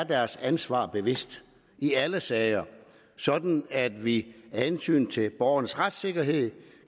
deres ansvar bevidst i alle sager sådan at vi af hensyn til borgernes retssikkerhed